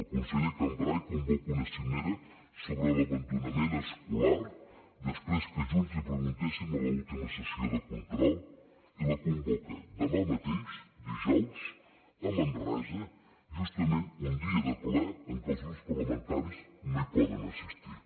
el conseller cambray convoca una cimera sobre l’abandonament escolar després que junts li preguntéssim a l’última sessió de control i la convoca demà mateix dijous a manresa justament un dia de ple en què els grups parlamentaris no hi poden assistir